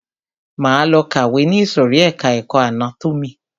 Máa lọ kàwé ni ìsòrí ẹka ẹ̀kọ́ anátómì.